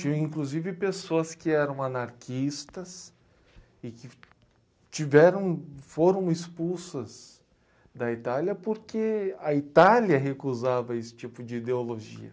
Tinha, inclusive, pessoas que eram anarquistas e tiveram, que foram expulsas da Itália porque a Itália recusava esse tipo de ideologia.